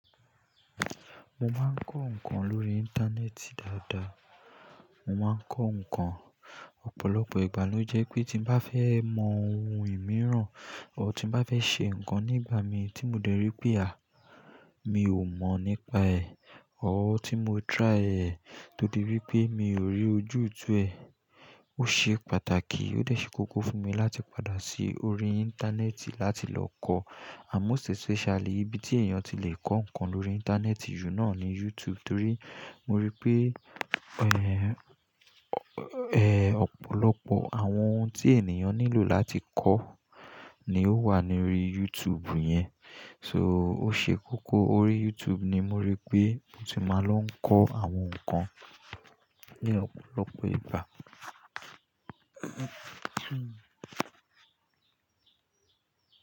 Mo máa ń kọ́ nǹkan lórí íńtánẹ́ẹ̀tì dáadáa. Mo máa ń kọ́ nǹkan, ọ̀pọ̀lọpọ̀ ìgbà ló jẹ́ pé tí mo bá fẹ́ mọ ohun ìmíràn or tí mo bá fẹ́ ṣe nǹkan nígbà mi tí mo dẹ́rí pé à, mi ò mọ̀ nípa ẹ̀ or tí mo try ẹ̀ todí wipé mi ò rí ojútùú ẹ̀. Ó ṣe pàtàkì, ó dẹ̀ ṣe kókó fún mi láti padà sí orí íńtánẹ́ẹ̀tì láti lọ kọ́ ànd most especially ibi tí èèyàn ti lè kọ́ nǹkan lórí íńtánẹ́ẹ̀tì jù náà ni YouTube torí mo rí pé ẹ́, ẹ́ ọ̀pọ̀lọpọ̀ àwọn ohun tí ènìyàn nílò láti kọ́ ni ó wà ní orí YouTube yẹn. So ó ṣe kókó orí YouTube ni mo rí pé mo ti máa lọ ń kọ́ àwọn nǹkan ní ọ̀pọ̀lọpọ̀ ìgbà.